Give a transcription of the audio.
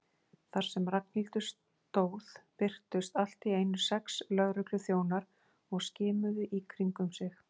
Þar sem Ragnhildur stóð birtust allt í einu sex lögregluþjónar og skimuðu í kringum sig.